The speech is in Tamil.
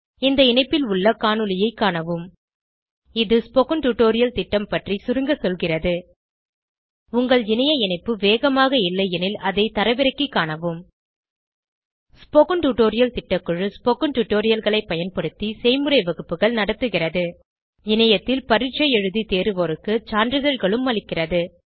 இந்த இணைப்பில் உள்ள காணொளியைக் காணவும் இது ஸ்போகன் டுடோரியல் திட்டம் பற்றி சுருங்க சொல்கிறது உங்கள் இணைய இணைப்பு வேகமாக இல்லையெனில் அதை தரவிறக்கிக் காணவும் ஸ்போகன் டுடோரியல் திட்டக்குழு ஸ்போகன் டுடோரியல்களைப் பயன்படுத்தி செய்முறை வகுப்புகள் நடத்துகிறது இணையத்தில் பரீட்சை எழுதி தேர்வோருக்கு சான்றிதழ்களும் அளிக்கிறது